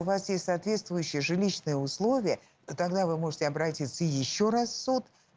у вас есть соответствующие жилищные условия тогда вы можете обратиться ещё раз в суд